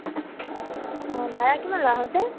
অ । কিমান ভাড়া লয়, আহোতে?